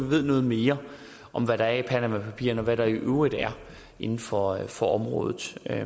ved noget mere om hvad der er i panamapapirerne og hvad der i øvrigt er inden for for området der er